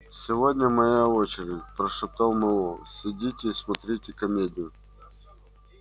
сегодня моя очередь прошептал мэллоу сидите и смотрите комедию